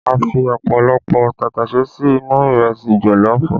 A fi ọ̀pọ̀lọpọ̀ tàtàṣé sí inú ìrẹsì jọ̀lọ́ọ̀fù